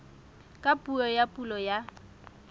ka puo ya pulo ya